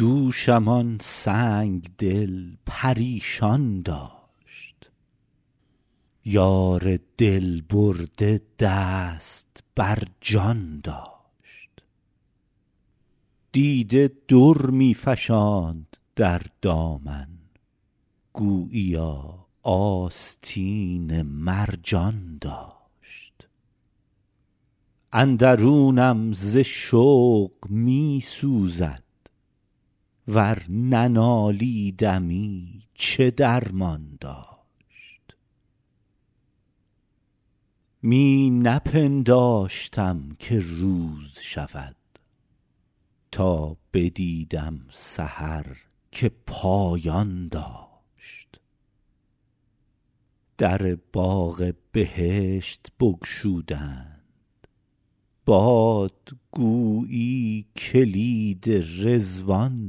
دوشم آن سنگ دل پریشان داشت یار دل برده دست بر جان داشت دیده در می فشاند در دامن گوییا آستین مرجان داشت اندرونم ز شوق می سوزد ور ننالیدمی چه درمان داشت می نپنداشتم که روز شود تا بدیدم سحر که پایان داشت در باغ بهشت بگشودند باد گویی کلید رضوان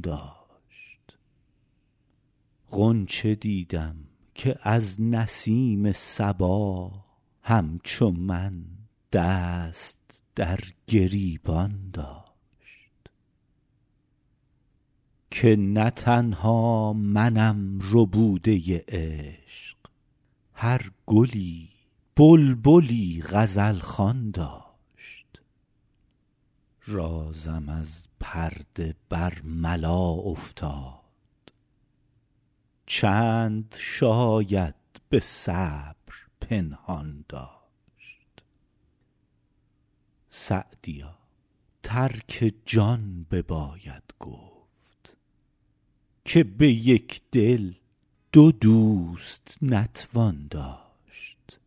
داشت غنچه دیدم که از نسیم صبا همچو من دست در گریبان داشت که نه تنها منم ربوده عشق هر گلی بلبلی غزل خوان داشت رازم از پرده برملا افتاد چند شاید به صبر پنهان داشت سعدیا ترک جان بباید گفت که به یک دل دو دوست نتوان داشت